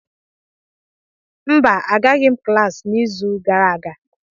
Mba, Agaghị m klas n'izu gara aga.